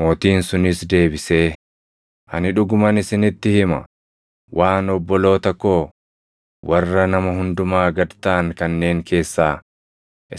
“Mootiin sunis deebisee, ‘Ani dhuguman isinitti hima; waan obboloota koo warra nama hundumaa gad taʼan kanneen keessaa